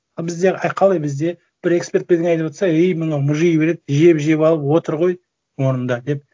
ы бізде і қалай бізде бір эксперт бірдеңе айтыватса ей мынау мұжи береді жеп жеп алып отыр ғой орынында деп